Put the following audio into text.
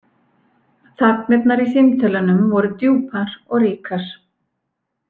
Þagnirnar í símtölunum voru djúpar og ríkar.